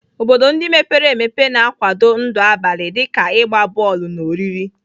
Obodo ndị mepere emepe na-akwado ndụ abalị dị ka ịgba bọọlụ na oriri.